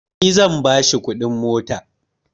Ni zan ba shi kuɗin mota